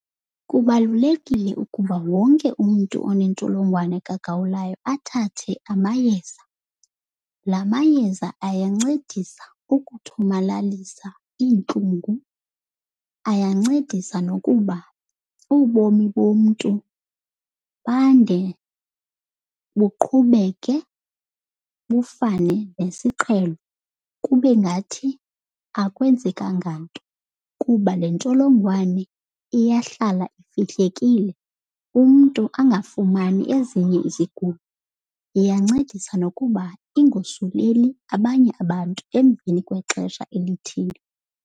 Kubalulekile ukuba wonke umntu onentsholongwane kagawulayo athathe amayeza. La mayeza ayancedisa ukuthomalalisa iintlungu, ayancedisa nokuba ubomi bomntu bande, buqhubeke bufane nesiqhelo kube ngathi akwenzekanga nto. Kuba le ntsholongwane iyahlala ifihlekile umntu angafumani ezinye izigulo. Iyancedisa nokuba ingosuleli abanye abantu emveni kwexesha elithile.